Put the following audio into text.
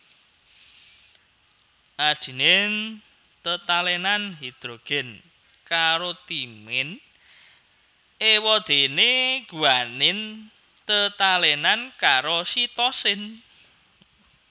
Adenin tetalènan hidrogen karo timin éwadéné guanin tetalènan karo sitosin